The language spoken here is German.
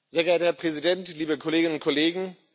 Sehr geehrter Herr Präsident, liebe Kolleginnen und Kollegen!